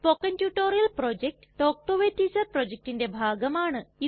spoken tutorial project talk to a teacher പ്രൊജക്റ്റിന്റെ ഭാഗമാണ്